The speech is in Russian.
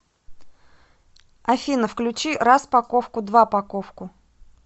афина включи рас паковку два паковку